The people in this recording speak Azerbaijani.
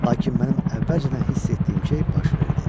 Lakin mənim əvvəlcədən hiss etdiyim şey baş verdi.